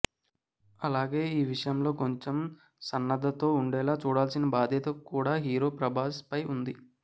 అలాగే ఈ విషయంలో కొంచెం సన్నద్ధతో ఉండేలా చూడాల్సిన బాధ్యత కూడా హీరో ప్రభాస్ పై ఉంది